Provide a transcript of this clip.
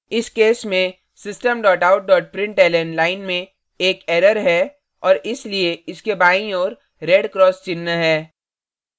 इस case में system out println line में एक एरर्स है और इसलिए इसके बाईं ओर red cross चिह्न है